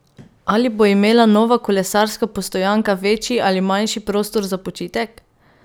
Ali bo imela nova kolesarska postojanka večji ali manjši prostor za počitek?